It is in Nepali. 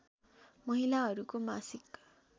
महिलाहरूको मासिक